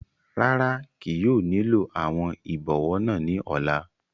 Rara, kii yóò nilo awọn ibọwọ naa ni ọla